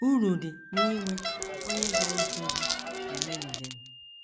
Uru dị n’inwe onye ga - eso gị eme njem